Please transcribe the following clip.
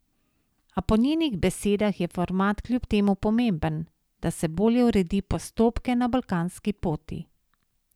A po njenih besedah je format kljub temu pomemben, da se bolje uredi postopke na balkanski poti.